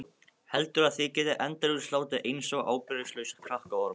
Heldurðu að þið getið endalaust látið einsog ábyrgðarlausir krakkaormar?